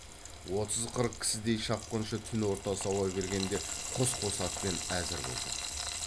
отыз қырық кісідей шапқыншы түн ортасы ауа бергенде қос қос атпен әзір болды